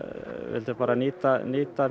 vildi nýta